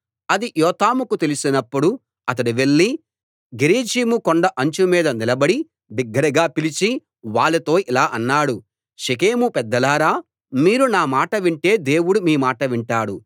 అది యోతాముకు తెలిసినప్పుడు అతడు వెళ్లి గెరిజీము కొండ అంచు మీద నిలబడి బిగ్గరగా పిలిచి వాళ్ళతో ఇలా అన్నాడు షెకెము పెద్దలారా మీరు నా మాట వింటే దేవుడు మీ మాట వింటాడు